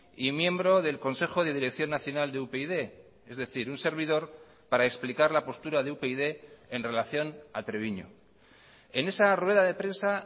y miembro del consejo de dirección nacional de upyd es decir un servidor para explicar la postura de upyd en relación a treviño en esa rueda de prensa